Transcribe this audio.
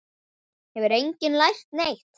Hefur enginn lært neitt?